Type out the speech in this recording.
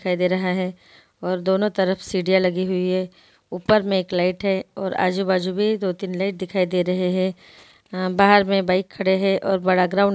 और दोनों तरफ सीढ़ियां लगी हुई है| ऊपर में एक लाइट है और आजू-बाजू में दो-तीन लाइट दिखाई दे रहे हैं| आ बाहर में बाइक खड़े हैं और बड़ा ग्राउंड दिखाई दे रहा है धन्यवाद।